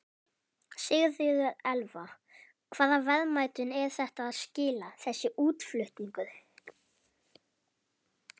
Sigríður Elva: Hvaða verðmætum er þetta að skila, þessi útflutningur?